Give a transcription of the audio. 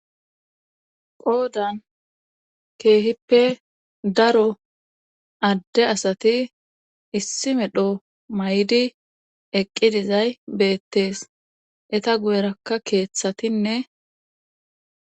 Qoodan keehippe daro adde asati issi medho may7di eqqi dizay beettees eta gu7erakka keeththatinne.